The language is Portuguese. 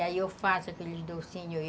E aí eu faço aqueles docinhos.